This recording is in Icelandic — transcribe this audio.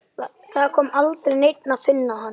Það kom aldrei neinn að finna hann.